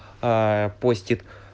постит